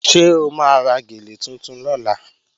Ṣé o máa ra gèlè tuntun lọ́la?